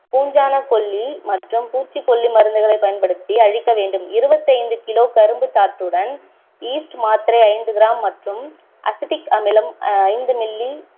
பூஞ்சாணக் கொல்லி மற்றும் பூச்சிக் கொல்லி மருந்துகளைக் பயன்படுத்தி அழிக்க வேண்டும் இருபத்தைந்து kilo கரும்புச் சாற்றுடன் yeast மாத்திரை ஐந்து gram மற்றும் அசிடிக் அமிலம் ஐந்து milli